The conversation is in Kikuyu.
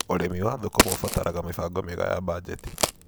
Ũrĩmi wa thũkũma ũbataraga mĩbango mĩega ya banjeti.